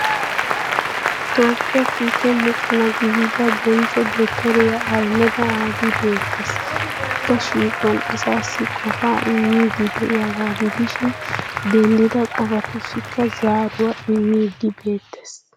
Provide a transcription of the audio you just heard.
Toophphiya kiike mocona gidida bonchcho dottoriya Ahmed abi beettes. Ikka shiiquwan asaassi qofaa immiiddi diyagaa gidishin denddida qofatussikka zaaruwaa immiiddi beettes.